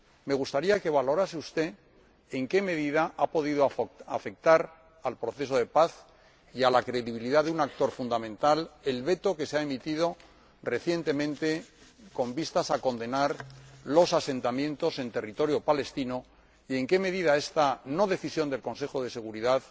Me gustaría que valorase usted en qué medida ha podido afectar, al proceso de paz y a la credibilidad de un actor fundamental, el veto que se ha emitido recientemente con vistas a condenar los asentamientos en territorio palestino, y en qué medida esta no decisión del Consejo de Seguridad